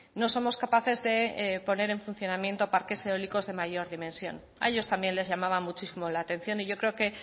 no somos capaces de poner en funcionamiento parques eólicos de mayor dimensión a ellos también les llamaba muchísimo la atención y yo creo que